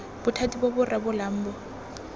bothati bo bo rebolang bo